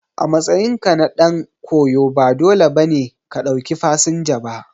A matsayinka na dan koyo ba dole ba ne ka ɗauki fasinja ba.